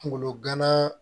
Kungolo gana